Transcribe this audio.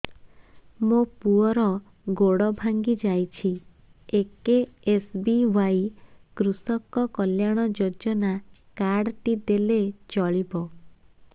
ମୋ ପୁଅର ଗୋଡ଼ ଭାଙ୍ଗି ଯାଇଛି ଏ କେ.ଏସ୍.ବି.ୱାଇ କୃଷକ କଲ୍ୟାଣ ଯୋଜନା କାର୍ଡ ଟି ଦେଲେ ଚଳିବ